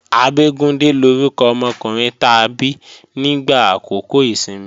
Abégúndé lórúkọ ọmọkùnrin ta bí nígbà àkókò ìsinmi